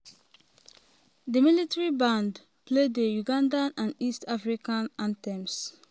di military band play di ugandan and east african anthems.